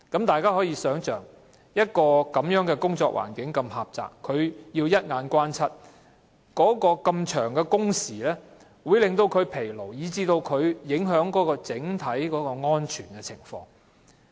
大家可以想象，車長在一個如此狹窄的環境工作，又要留意四周的交通情況，這麼長的工時會令他們疲勞，以致影響整體的安全情況。